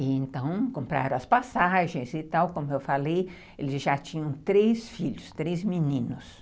E então compraram as passagens e tal, como eu falei, eles já tinham três filhos, três meninos.